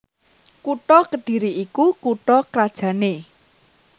Kutha Kedhiri iku kutha krajanné